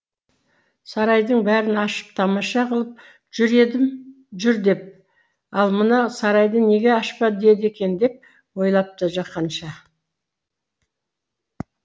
сарайдың бәрін ашып тамаша қылып жүр деп ал мына сарайды неге ашпа деді екен деп ойлапты жақанша